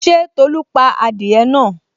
Ṣé Tolu pa adìẹ náà?